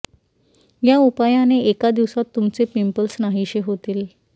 ह्या उपायाने एका दिवसात तुमचे पिंपल्स नाहीशे होतील